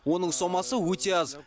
оның сомасы өте аз